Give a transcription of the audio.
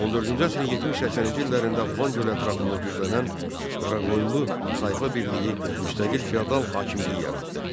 14-cü əsrin 70-80-ci illərində Van gölü ətrafında güclənən Qaraqoyunlu tayfa birliyi müstəqil feodal hakimiyyəti yaratdı.